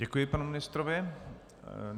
Děkuji panu ministrovi.